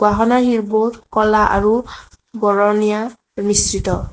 খনৰ শিলবোৰ ক'লা আৰু বৰণীয়া মিশ্ৰিত।